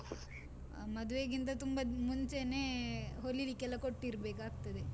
ಅಹ್ ಮದುವೆಗಿಂತ ತುಂಬಾ ಮುಂಚೆನೆೇ ಹೊಲಿಲಿಕ್ಕೆಲ್ಲಾ ಕೊಟ್ಟಿರ್ಬೇಕಾಗ್ತದೆ.